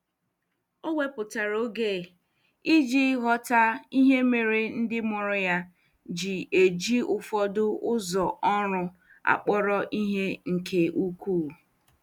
O wepụtara oge iji ghọta ihe mere ndị mụrụ ya ji eji ụfọdụ ụzọ ọrụ akpọrọ ihe nke ukwuu.